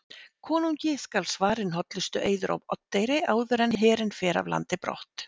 Konungi skal svarinn hollustueiður á Oddeyri áður en herinn fer af landi brott.